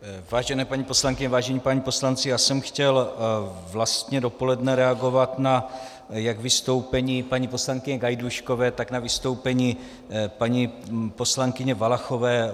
Vážené paní poslankyně, vážení páni poslanci, já jsem chtěl vlastně dopoledne reagovat jak na vystoupení paní poslankyně Gajdůškové, tak na vystoupení paní poslankyně Valachové.